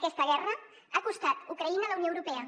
aquesta guerra ha costat ucraïna a la unió europea